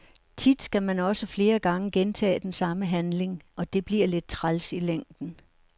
Tit skal man også flere gange gentage den samme handling, og det bliver lidt træls i længden.